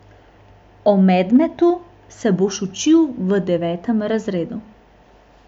O medmetu se boš učil v devetem razredu.